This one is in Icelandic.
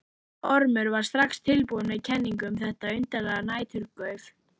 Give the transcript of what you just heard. Ormur var strax tilbúinn með kenningu um þetta undarlega næturgauf.